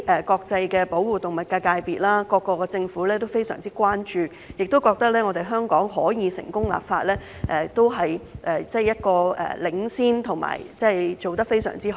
國際保護動物界界別及各地政府均高度關注，認為香港成功立法，不但是一種領先表現，而且做得非常好。